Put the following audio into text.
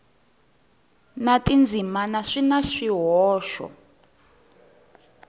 na tindzimana swi na swihoxo